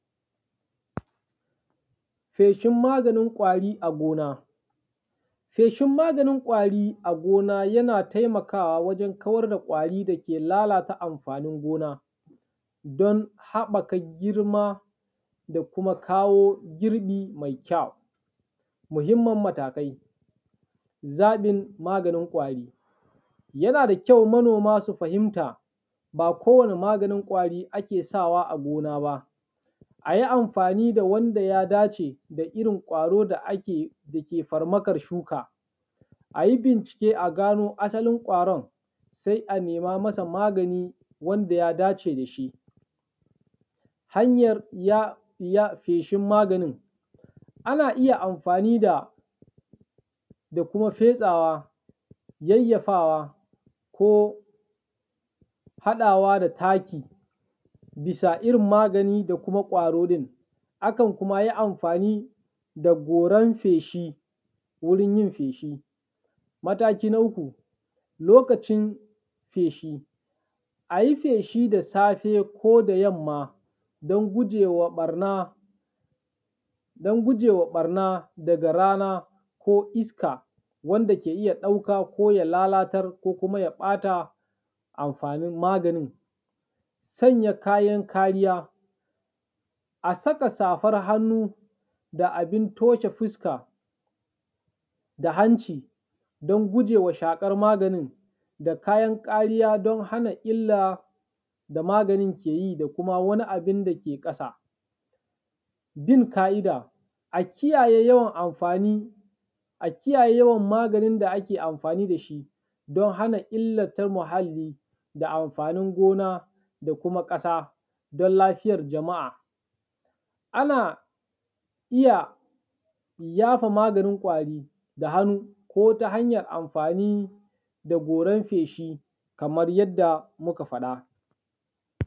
Feshin maganin ƙwari a gona. Feshin maganin ƙwari a gona yana taimakawa wajen kawar da ƙwari dake lalata amfanin gona don haɓaka girma da kuma kawo girbi mai kyau. Muhimmin matakai, zaɓin maganin ƙwari; yana da kyau manoma su fahimta, ba kowane maganin ƙwari ake sawa a gona ba, a yi amfani da wanda ya dace da irin ƙwaro da ake da ke farmakar shuka. A yi bincike a gano asalin ƙwaron, sai a nema masa magani wanda ya dace da shi. Hanyar feshin maganin; ana iya amfani da, da kuma fesawa, yayyafawa ko haɗawa da taki bisa irin magani da kuma ƙwaro ɗin, akan kuma yi amfani da goran feshi wurin yin feshi. Mataki na uku, lokacin feshi; a yi feshi da safe ko da yamma don gujewa ɓarna, don gujewa ɓarna daga rana ko iska wanda ke iya ɗauka ko ya lalatar ko kuma ya ɓata amfanin maganin. Sanya kayan kariya; a saka safan hannu da abin toshe fuska da hanci don gujewa shaƙar maganin da kayan kariya don hana illa da maganin ke yi da kuma wani abin dake ƙasa. Bin ka’ida; a kiyaye yawan amfani, a kiyaye yawan maganin da ake amfani da shi don hana illata muhalli da amfanin gona da kuma ƙasa don lafiyar jama’a. Ana iya yafa maganin ƙwari da hannu ko ta hanyar amfani da goran feshi kamar yadda muka faɗa.